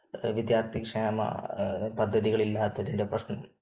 വിദ്യാർഥി ക്ഷേമ പദ്ധതികളില്ലാത്തതിന്റെ പ്രശ്നം